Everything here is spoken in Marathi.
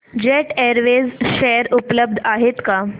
जेट एअरवेज शेअर उपलब्ध आहेत का